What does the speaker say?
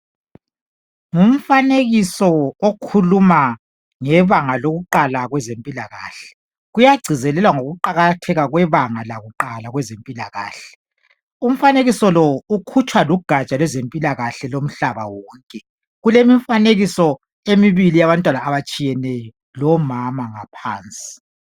Ngumfanekiso okhuluma ngebanga lokuqala kwezempilakahle. Kuyagcizelelwa ngokuqakatheka kwebanga lakuqala kwezempilakahle. Umfanekiso lo ukhutshwa lugatsha lwezempilakahle lomhlaba wonke. Kulemifanekiso emibili yabantwana abatshiyeneyo lomama ngaphansi.